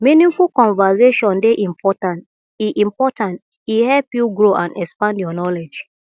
meaningful conversation dey important e important e help you grow and expand your knowledge